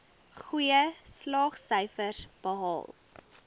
goeie slaagsyfers behaal